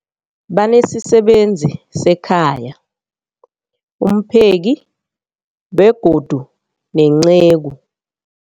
Banesisebenzi sekhaya, umpheki, begodu nenceku.